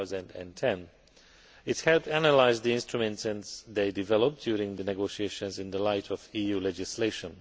2010. It has analysed the instruments as they developed during the negotiations in the light of EU legislation.